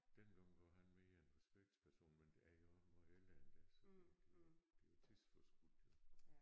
Dengang var han mere en respekts person men jeg er jo også måj ældre end dig så det det det er tidsforskudt jo